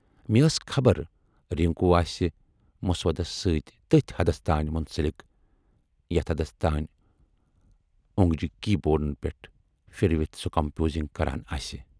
مے ٲس خَبر رِنکو آسہِ مُسودس سۭتۍ تٔتھۍ حدس تانۍ مُنسلِک، یَتھ حدس تانۍ اونگجہٕ کی بورڈس پٮ۪ٹھ پھِروِتھ سُہ کمپوٗزِنگ کران آسہِ۔